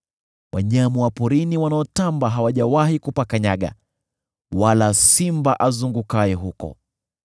Wanyama wa porini wanaotamba hawajawahi kupakanyaga, wala simba azungukaye huko.